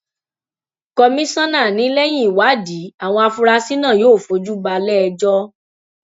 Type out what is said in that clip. komisanna ni lẹyìn ìwádìí àwọn afurasí náà yóò fojú ba iléẹjọ